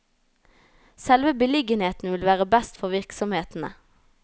Selve beliggenheten vil være best for virksomhetene.